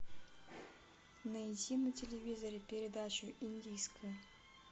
найти на телевизоре передачу индийское